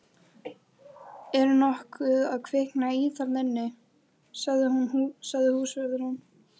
Er nokkuð að kvikna í þarna inni? sagði húsvörðurinn.